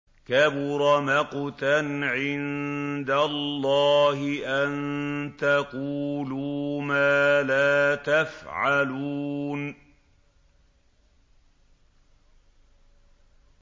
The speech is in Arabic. كَبُرَ مَقْتًا عِندَ اللَّهِ أَن تَقُولُوا مَا لَا تَفْعَلُونَ